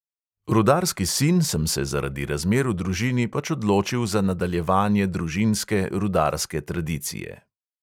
Rudarski sin sem se zaradi razmer v družini pač odločil za nadaljevanje družinske rudarske tradicije.